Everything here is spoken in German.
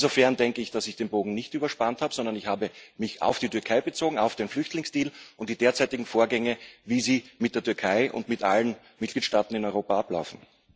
Insofern denke ich, dass ich den Bogen nicht überspannt habe, sondern ich habe mich auf die Türkei bezogen, auf den Flüchtlingsdeal und die derzeitigen Vorgänge, wie sie mit der Türkei und mit allen Mitgliedstaaten in Europa ablaufen.